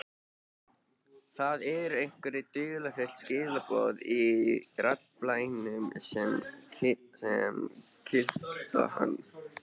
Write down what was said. Það eru einhver dularfull skilaboð í raddblænum sem kitla hann.